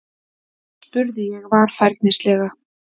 spurði ég varfærnislega.